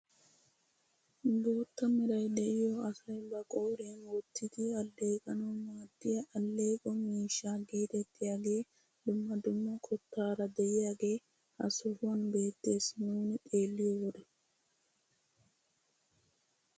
Bootta meray de'iyoo asay ba qooriyaan wottidi alleqanawu maaddiyaa alleeqo miishsha geetettiyaagee dumma dumma qottaara de'iyaagee ha sohuwaan beettes nuni xeelliyo wode.